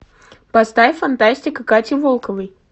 поставь фантастика кати волковой